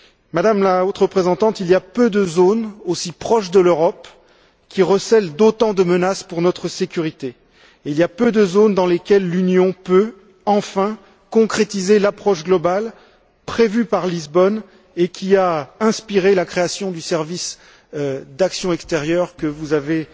Madame la Haute représentante, il y a peu de zones aussi proches de l'Europe qui recèlent autant de menaces pour notre sécurité et il y a peu de zones dans lesquelles l'Union peut enfin concrétiser l'approche globale prévue par Lisbonne et qui a inspiré la création du service d'action extérieure que vous avez